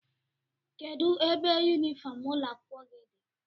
kedụ ebe yunifọm ụlọ akwụkwọ gị dị?